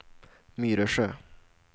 Myresjö